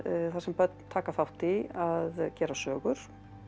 þar sem börn taka þátt í að gera sögur